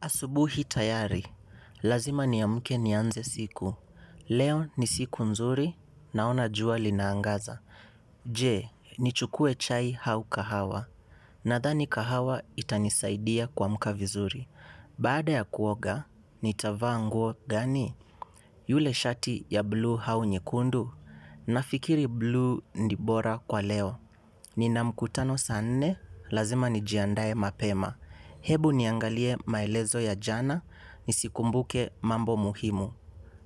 Asubuhi tayari. Lazima niamke nianze siku. Leo ni siku nzuri naona jua linaangaza. Je, nichukue chai au kahawa. Nadhani kahawa itanisaidia kuamka vizuri. Baada ya kuoga, nitavaa nguo gani yule shati ya blue au nyekundu. Nafikiri blue ni bora kwa leo. Nina mkutano saa nne, lazima nijiandae mapema. Ebu niangalie maelezo ya jana nizikumbuke mambo muhimu.